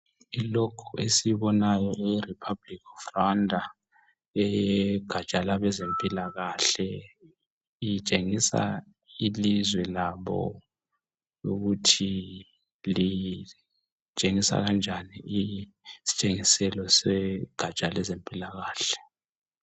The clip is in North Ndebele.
Lokhu esikubonayo e Republic of Rwanda eyegatsha lwabezempilakahle itshengisa ilizwe labo ukuthi litshengisa kanjani isitshengiselo segatsha lwezempilakahle